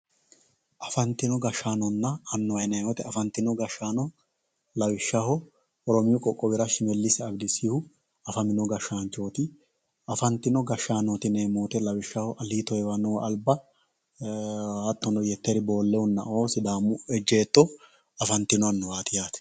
Afantino gashshaanonna annuwa yinanni woyte afantino gashshaano lawishshaho oromiyu Qoqqowira Shimelisi Abidisihu afamino gashshaanchoti afantino gashshaanoti yineemmo woyte lawishshaho Alito Heewanohu Alba hattono Yetteri Boolehunnao sidaamu ejjeetto afantino annuwati yaate.